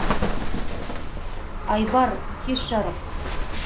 айбар кеш жарық